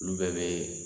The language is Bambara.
Olu bɛɛ bɛ